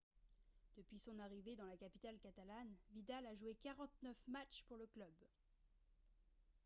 depuis son arrivée dans la capitale catalane vidal a joué 49 matchs pour le club